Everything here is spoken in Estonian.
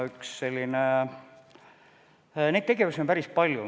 Neid tegevusi on päris palju.